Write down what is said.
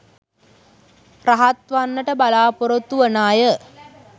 රහත් වන්නට බලාපොරොත්තු වන අය